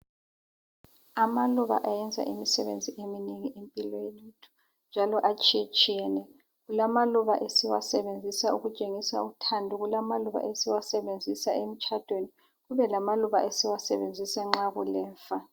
Amaluba ayenza imisebenzi eminengi empilweni, njalo atshiyetshiyene. Kulamaluba esiwasebenzisa ukutshengisa uthando, kulamaluba esiwasebenzisa emtshadweni kube lamaluba esiwasebenzisa nxa kulemfa.